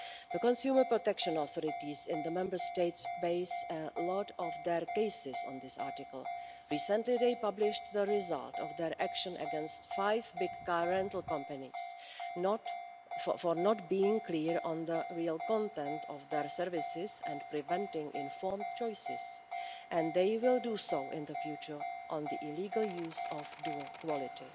The consumer protection authorities in the Member States base a lot of their cases on this article. Recently, they published the result of their action against five big car rental companies for not being clear on the real content of their services and preventing informed choices, and they will do so in the future on the illegal use of dual quality.